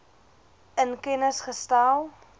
in kennis gestel